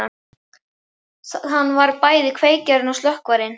Hann var bæði kveikjarinn og slökkvarinn.